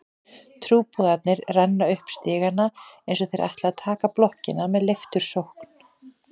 Trúboðarnir renna upp stigana eins og þeir ætli að taka blokkina með leiftursókn.